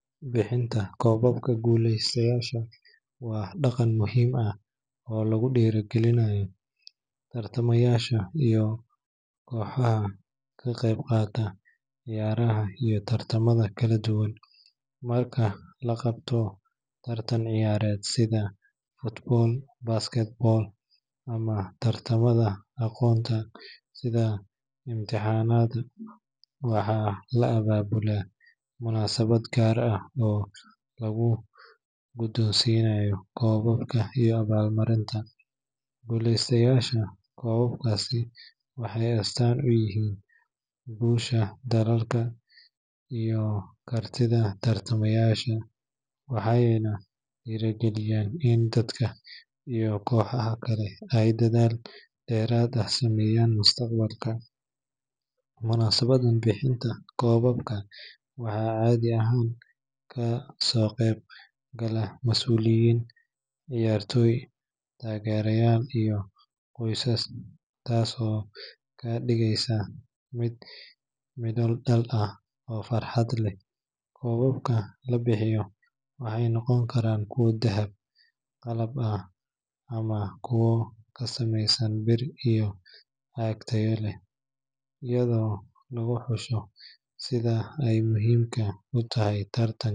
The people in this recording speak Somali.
Bixinta koobabka guuleystayaasha waa dhaqan muhiim ah oo lagu dhiirrigeliyo tartamayaasha iyo kooxaha ka qayb qaata ciyaaraha iyo tartamada kala duwan. Marka la qabto tartan ciyaareed sida football, basketball, ama tartamada aqoonta sida imtixaanada, waxaa la abaabulaa munaasabad gaar ah oo lagu guddoonsiinayo koobabka iyo abaalmarinta guuleystayaasha. Koobabkaasi waxay astaan u yihiin guusha, dadaalka, iyo kartida tartamayaasha, waxayna dhiirrigeliyaan in dadka iyo kooxaha kale ay dadaal dheeraad ah sameeyaan mustaqbalka. Munaasabaddan bixinta koobabka waxaa caadi ahaan ka soo qayb gala masuuliyiin, ciyaartoy, taageerayaal iyo qoysaska, taas oo ka dhigaysa mid midho dhal ah oo farxad leh. Koobabka la bixiyo waxay noqon karaan kuwo dahab, qalab ah, ama kuwa ka samaysan bir iyo caag tayo leh, iyadoo lagu xusho sida ay muhiimka u tahay tartanka.